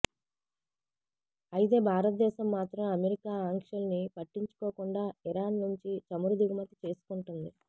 అయితే భారతదేశం మాత్రం అమెరికా ఆంక్షల్ని పట్టించుకోకుండా ఇరాన్ నుంచి చమురు దిగుమతి చేసుకుంటోంది